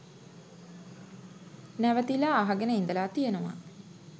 නැවතිලා අහගෙන ඉඳලා තියෙනවා.